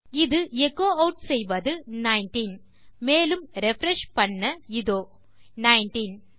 இது எச்சோ ஆட் செய்வது நைன்டீன் மேலும் ரிஃப்ரெஷ் செய்ய இதோ நைன்டீன்